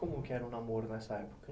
Como que era o namoro nessa época?